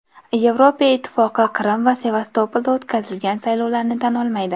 Yevropa ittifoqi Qrim va Sevastopolda o‘tkazilgan saylovlarni tan olmaydi.